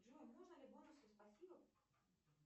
джой можно ли бонусы спасибо